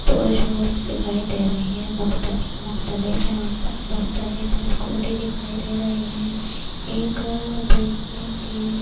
دو shops دکھائی دے رہی ہے مختلف-مختلف، یہاں پر مختلف سکوٹنے دکھائی دے رہی ہے۔ ایک بیٹھنے کے--